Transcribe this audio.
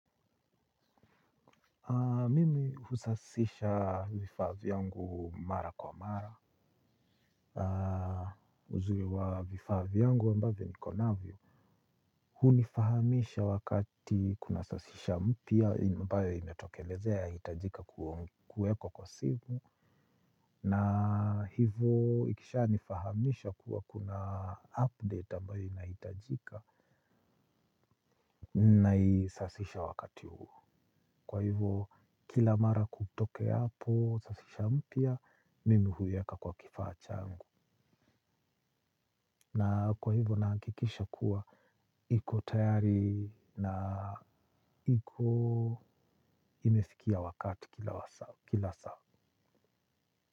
Mimi husasisha vifaa vyangu mara kwa mara uzuri wa vifaa vyangu ambavya niko navyo. Hunifahamisha wakati kuna sasisha mpya ambayo imetokelezea yahitajika kuwekwa kwa simu. Na hivyo ikisha nifahamisha kuwa kuna update ambayo inahitajika. Na isasisha wakati huo. Kwa hivo kila mara kutokeapo sasisha mpya mimi huiweka kwa kifaa changu na kwa hivyo nahakikisha kuwa iko tayari na iko imefikia wakati kila wasaa saa.